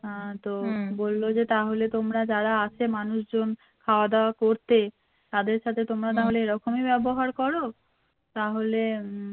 হ্যা তো বললো যে তোমরা যারা আসে মানুষজন খাওয়া দাওয়া করতে তাদের সাথে তোমরা তাহলে এরকমই ব্যবহার করো তাহলে উম